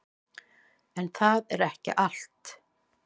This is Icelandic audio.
En það er ekki allt.